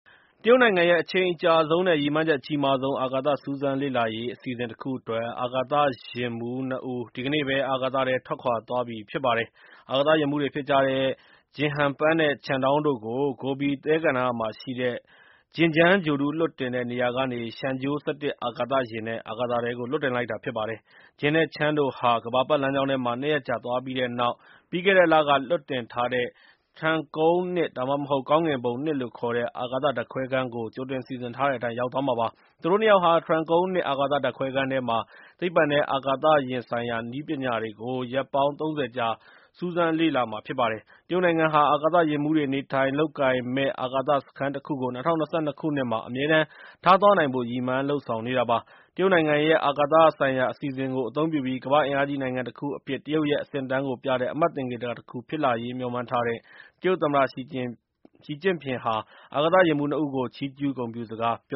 တရုတ်နိုင်ငံရဲ့ အချိန်အကြာဆုံးနဲ့ ရည်မှန်းချက် အကြီးမားဆုံး အာကာသ စူးစမ်းလေ့လာရေး အစီအစဉ်တခုအတွက် အာကာသယာဉ်မှူး နှစ်ဦး ဒီကနေ့ပဲ အာကာသထဲ ထွက်ခွာသွားပါပြီ။ အာကာသယာဉ်မှူးတွေဖြစ်ကြတဲ့ ဂျင်းဟန်ပန်းနဲ့ ချန်ဒေါင်း တို့ကို ဂိုဘီ - သဲကန္တာရမှာရှိတဲ့- ဂျင်းဂျန် ဂြိုလ်တု လွှတ်တင်တဲ့ နေရာကနေ ရှန်ဂျိုး - ၁၁ အာကာသ ယာဉ်နဲ့ အာကာသထဲကို လွှတ်တင်လိုက်တာဖြစ်ပါတယ်။ Jing နဲ့ Chen တို့ဟာ ကမ္ဘာပတ်လမ်းကြောင်းထဲမှာ နှစ်ရက်ကြာ သွားပြီးတဲ့နောက် ပြီးခဲ့တဲ့လက လွှတ်တင်ထားတဲ့ ထျန်းကုန်း- ၂ (ဒါမှမဟုတ်) ကောင်းကင်ဘုံ ၂ လို့ခေါ်တဲ့ အာကာသ ဓာတ်ခွဲခန်းကို ကြိုတင်စီစဉ်ထားတဲ့အတိုင်း ရောက်သွားမှာပါ။ သူတို့နှစ်ယောက်ဟာ ထျန်းကုန်း ၂ အာကာသ ဓာတ်ခွဲခန်းထဲမှာ သိပ္ပံနဲ့ အာကာသယာဉ်ဆိုင်ရာ နည်းပညာတွေကို ရက်ပေါင်း ၃၀ ကြာ စူးစမ်းလေ့လာကြာမှာ ဖြစ်ပါတယ်။ တရုတ်နိုင်ငံဟာ အာကာသ ယာဉ်မှူးတွေ နေထိုင်လုပ်ကိုင်မယ့် အာကာသစခန်းတခုကို ၂၀၂၂ ခုနှစ်မှာ အမြဲတမ်းထားသွားနိုင်ဖို့ ရည်မှန်း လုပ်ဆောင်နေတာပါ။ တရုတ်နိုင်ငံရဲ့ အာကာသဆိုင်ရာ အစီအစဉ်ကို အသုံးပြုပြီး ကမ္ဘာ့အင်အားကြီးနိုင်ငံတခုအဖြစ် တရုတ်ရဲ့ အဆင့်အတန်းကိုပြတဲ့ အမှတ်သင်္ကေတတခုဖြစ်လာရေး မျှော်မှန်းထားတဲ့ တရုတ်သမ္မတ ရှီ ကျင့်ဖျင်က အာကာသယာဉ်မှူးနှစ်ဦးကို ချီးကျူး ဂုဏ်ပြုစကား ပြ